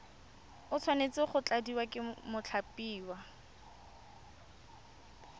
tshwanetse go tladiwa ke mothapiwa